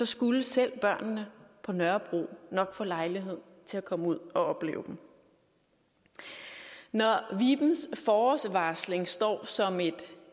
skulle selv børnene på nørrebro nok få lejlighed til at komme ud og opleve dem når vibens forårsvarsling står som et